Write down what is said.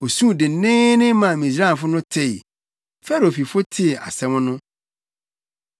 Osuu denneennen maa Misraimfo no tee, Farao fifo tee asɛm no.